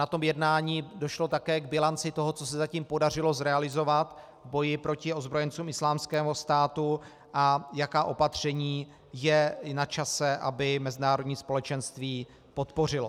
Na tom jednání došlo také k bilanci toho, co se zatím podařilo zrealizovat v boji proti ozbrojencům Islámského státu a jaká opatření je načase, aby mezinárodní společenství podpořilo.